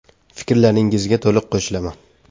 - Fikrlaringizga to‘liq qo‘shilaman.